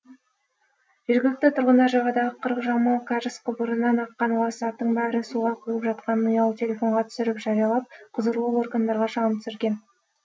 жергілікті тұрғындар жағадағы қырық жамау кәріз құбырынан аққан лас заттың бәрі суға құйылып жатқанын ұялы телефонға түсіріп жариялап құзырлы органдарға шағым түсірген